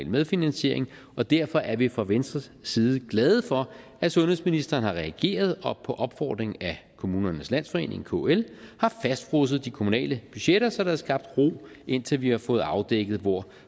medfinansiering og derfor er vi fra venstres side glade for at sundhedsministeren har reageret og på opfordring af kommunernes landsforening kl har fastfrosset de kommunale budgetter så der er skabt ro indtil vi har fået afdækket hvor